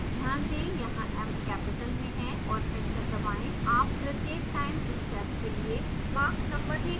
ध्यान दें यहाँ m कैपिटल में है और एंटर दबाएं आप प्रत्येक टाइम स्टेप के लिए mach number देख सकते हैं